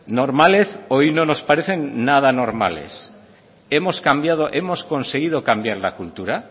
normales hoy no nos parecen nada normales hemos cambiado hemos conseguido cambiar la cultura